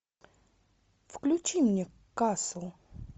включи мне касл